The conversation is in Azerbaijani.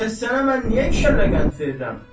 Bəs sənə mən niyə iki kəllə qənd verirəm?